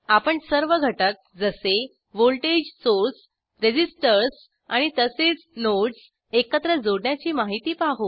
आपण सर्व घटक जसे व्होल्टेज सोर्स रेसिसटर्स आणि तसेच नोडस् एकत्र जोडण्याची माहिती पाहू